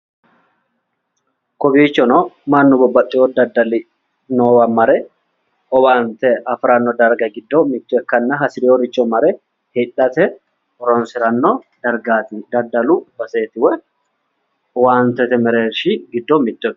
Kowiichono mannu babbaxxewo daddali noowa mare owaante afiranno darguwa giddo mitto ikkanna hasireeworicho mare hidhate horonsiranno dargaati. daddalu baseeti woy owaantete mereershi giddo mitto ikkanno.